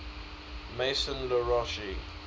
maison la roche